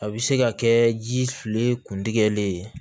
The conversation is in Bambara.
A bɛ se ka kɛ ji fili kun tigɛlen ye